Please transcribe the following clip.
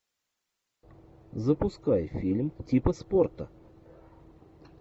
запускай фильм типа спорта